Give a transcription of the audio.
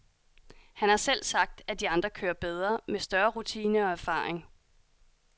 Han har selv sagt, at de andre kører bedre, med større rutine og erfaring.